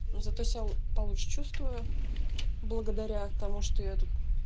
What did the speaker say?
ну зато все получше чувствую благодаря тому что я тут